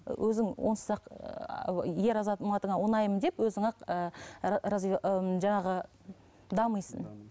өзің онсыз ақ ыыы ер азаматыңа ұнаймын деп өзің ақ ы ы жаңағы дамисың